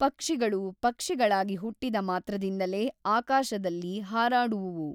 ಪಕ್ಷಿಗಳು ಪಕ್ಷಿಗಳಾಗಿ ಹುಟ್ಟಿದ ಮಾತ್ರದಿಂದಲೇ ಆಕಾಶದಲ್ಲಿ ಹಾರಾಡುವುವು.